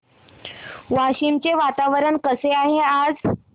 वाशिम चे वातावरण कसे आहे आज